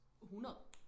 100